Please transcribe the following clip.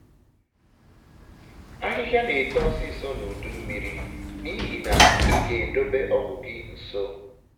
ahịhịa na-eto ọsịsọ na udummiri n'ihi nke a ị ga-edobe ọgụ gị nso